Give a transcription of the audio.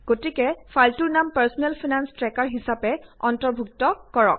গতিকে ফাইলটোৰ নাম পাৰ্চনেল ফাইনেঞ্চ ট্ৰেকাৰ হিচাপে অন্তৰ্ভুক্ত কৰক